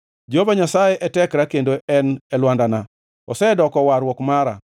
Jehova Nyasaye e tekra kendo en e wenda; osedoko warruok mara.